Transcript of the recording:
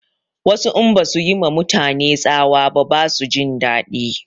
Wasu in basu yi ma mutane tsawa ba ba su jin daɗi